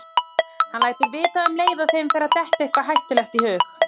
Hann lætur vita um leið og þeim fer að detta eitthvað hættulegt í hug.